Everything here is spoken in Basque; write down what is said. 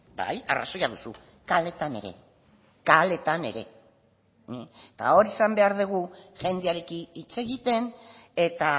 bai arrazoia duzu kaleetan ere kaleetan ere eta hor izan behar dugu jendearekin hitz egiten eta